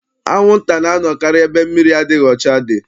Anwụnta na-anọkarị ebe mmiri adịghị ọcha dị.